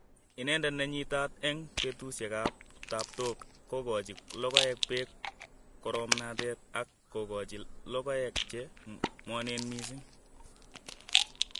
Ineendet ne nyiitaat eng' peetuusyegap taaptook, kogoochi logoegap peek koroomnateet, ak kogoochi logoek che ng'woneen miising'.